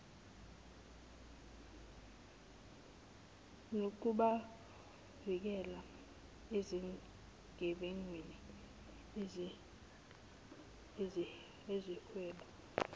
nokubavikela ezigebengwini ezihweba